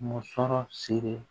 Musɔrɔ siri